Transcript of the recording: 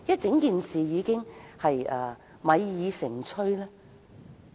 整件事已經米已成炊。